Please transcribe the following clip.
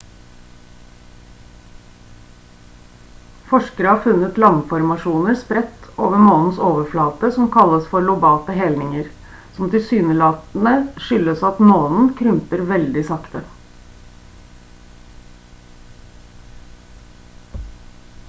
forskere har funnet landformasjoner spredt over månens overflate som kalles for lobate helninger som tilsynelatende skyldes at månen krymper veldig sakte